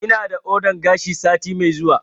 Ina da ordan gashi sati mai zuwa